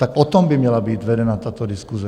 Tak o tom by měla být vedena tato diskuse.